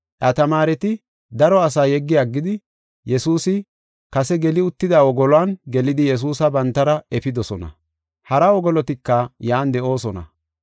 Iya tamaareti daro asa yeggi aggidi, Yesuusi kase geli uttida wogoluwan gelidi Yesuusa bantara efidosona. Hara wogolotika yan de7oosona.